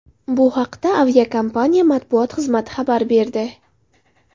Bu haqda aviakompaniya matbuot xizmati xabar berdi .